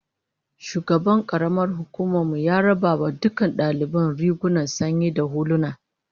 Shugaban karamar hukumar mu ya raba wa dukkan daliban rigunan sanyi da huluna